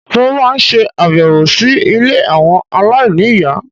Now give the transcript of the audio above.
Mo máa ń ṣe àbẹ̀wò si ilé àwọn aláìní ìyá